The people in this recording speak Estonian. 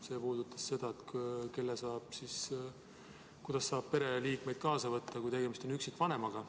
See puudutas seda, kuidas saab pereliikmeid kaasa võtta, kui tegemist on üksikvanemaga.